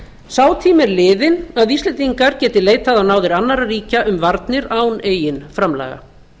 sá tími er liðinn að íslendingar geti leitað á náðir annarra ríkja um varnir án eigin framlaga